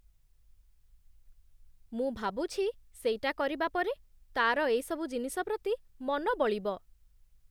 ମୁଁ ଭାବୁଛି ସେଇଟା କରିବା ପରେ, ତା'ର ଏଇସବୁ ଜିନିଷ ପ୍ରତି ମନ ବଳିବ ।